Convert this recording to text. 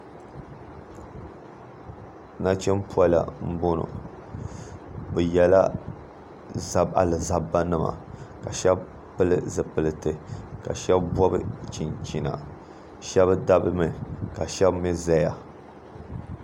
nachim'pola m-bɔno bɛ yela alizabbanima ka shɛba pili zupiliti ka shɛba bɔbi chinchina shɛba dabimi ka shɛba mii zaya